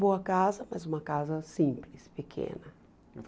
Boa casa, mas uma casa simples, pequena.